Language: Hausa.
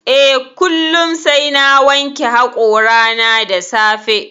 Eh. kullum sai na wanke hoƙorana da safe